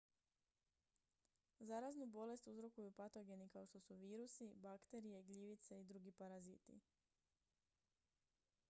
zaraznu bolest uzrokuju patogeni kao što su virusi bakterije gljivice i drugi paraziti